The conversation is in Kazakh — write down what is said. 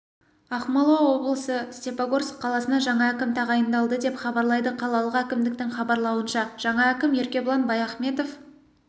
ақмола облысы степогорск қаласына жаңа әкім тағайындалды деп хабарлайды қалалық әкімдіктің хабарлауынша жаңа әкім еркебұлан баяхметов